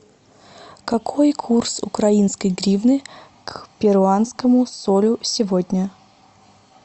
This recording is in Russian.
какой курс украинской гривны к перуанскому солю сегодня